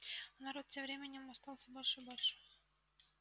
а народ тем временем устал всё больше и больше